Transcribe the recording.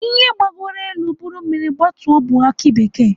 Ihe gbagoro elu buru mmiri gbatuo bụ aki bekee.